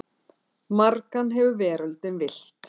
Margan hefur veröldin villt.